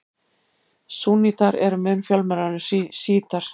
Súnnítar eru mun fjölmennari en sjítar.